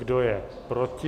Kdo je proti?